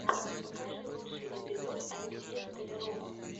покажи лучший эпизод алексея столярова